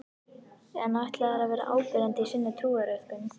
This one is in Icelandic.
En ætla þeir að vera áberandi í sinni trúariðkun?